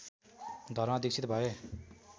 धर्ममा दीक्षित भए